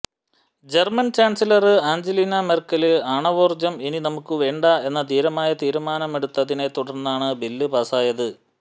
German chancellor Angelina Merkel ആണവോര്ജ്ജം ഇനി നമുക്ക് വേണ്ട എന്ന ധീരമായ തീരുമാനെടുത്തതിനെ തുടര്ന്നാണ് ബില് പാസായത്